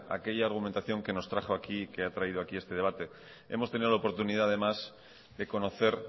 aquella argumentación que nos ha traído aquí a este debate hemos tenido la oportunidad además de conocer